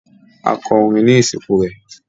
A kọrín ni isinku rẹ